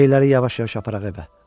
Şeyləri yavaş-yavaş aparaq evə.